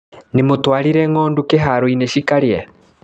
Nĩmũtwarire ngondu kĩharoinĩ cikarĩe.